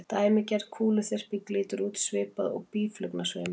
Dæmigerð kúluþyrping lítur út svipað og býflugnasveimur.